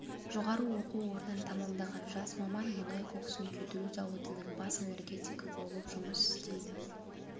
жоғары оқу орнын тәмамдаған жас маман мұнай коксын күйдіру зауытының бас энергетигі болып жұмыс істейді